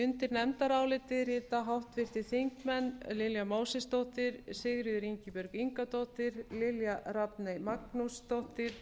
undir nefndarálitið rita háttvirtir þingmenn lilja mósesdóttir sigríður ingibjörg ingadóttir lilja rafney magnúsdóttir